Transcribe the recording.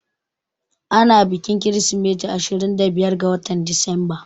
Ana bikin kirismeti ashirin da biyar ga watan Disamba